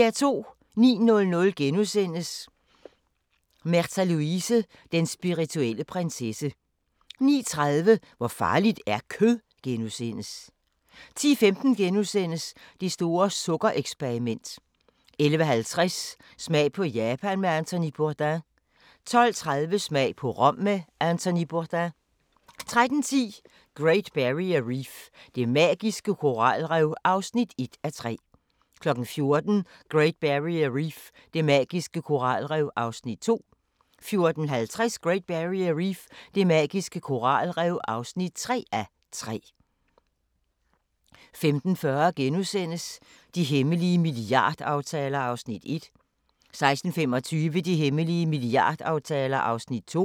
09:00: Märtha Louise – Den spirituelle prinsesse * 09:30: Hvor farligt er kød? * 10:15: Det store sukker-eksperiment * 11:50: Smag på Japan med Anthony Bourdain 12:30: Smag på Rom med Anthony Bourdain 13:10: Great Barrier Reef – det magiske koralrev (1:3) 14:00: Great Barrier Reef – det magiske koralrev (2:3) 14:50: Great Barrier Reef – det magiske koralrev (3:3) 15:40: De hemmelige milliardaftaler (Afs. 1)* 16:25: De hemmelige milliardaftaler (Afs. 2)*